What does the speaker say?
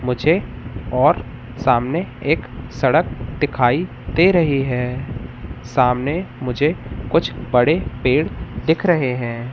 मुझे और सामने एक सड़क दिखाई दे रही है सामने मुझे कुछ बड़े पेड़ दिख रहे हैं।